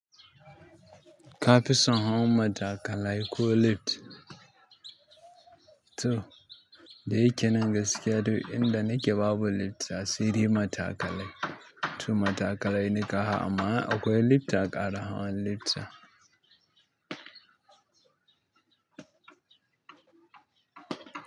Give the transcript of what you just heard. Ka fi son hawan matakalai ko lift? To, da yake nan gaskiya, inda nike babu lift sa dai matakalai. To matakalai ni kahawa amma in akwai lift a ƙara hawan lift ɗin.